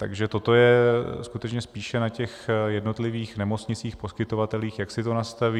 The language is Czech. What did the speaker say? Takže toto je skutečně spíše na těch jednotlivých nemocnicích, poskytovatelích, jak si to nastaví.